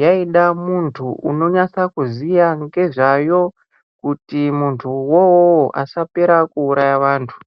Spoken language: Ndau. yaida Anoziva nezvayo kuti muntu uwowo asapera kuraya vantu.